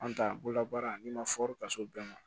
An ta bolola baara n'i ma fɔri ka s'o bɛɛ ma